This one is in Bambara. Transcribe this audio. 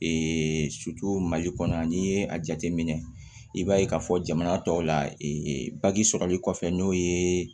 mali kɔnɔ n'i ye a jateminɛ i b'a ye k'a fɔ jamana tɔw la baji sɔrɔli kɔfɛ n'o ye